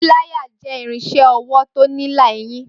Pílàyá jẹ ìrínsẹ ọwọ tọ nílà eyín